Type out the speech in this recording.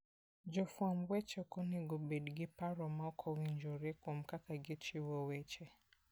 Jofwamb weche ok onego obed gi paro maok owinjore kuom kaka gichiwo weche.